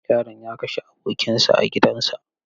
Yaron ya kashe abokinsa a gidansa.